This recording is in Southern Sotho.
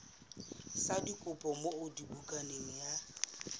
sa dikopo moo bukana ya